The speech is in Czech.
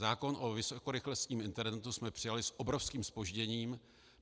Zákon o vysokorychlostním internetu jsme přijali s obrovským zpožděním.